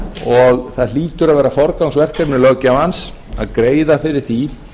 og það hlýtur að vera forgangsverkefni launþegans að greiða fyrir því